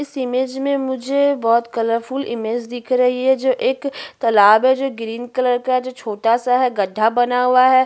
इस इमेज में मुझे बहोत कलरफुल इमेज दिख रही है जो एक तालाब है जो ग्रीन कलर का जो छोटा-सा है गड्ढा बना हुआ है।